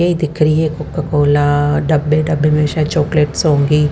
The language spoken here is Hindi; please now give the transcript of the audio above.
ये दिख रही है कोको कोला डब्बे में शायद चॉकलेट्स होंगी।